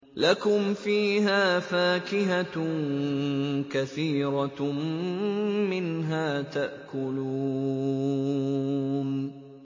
لَكُمْ فِيهَا فَاكِهَةٌ كَثِيرَةٌ مِّنْهَا تَأْكُلُونَ